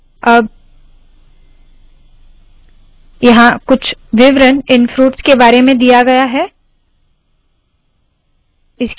अब यहाँ कुछ विवरण इन फ्रूट्स के बारे में दिया है